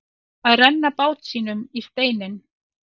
Að renna bát sínum í steininn